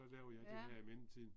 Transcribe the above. Ja